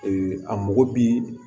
a mago bi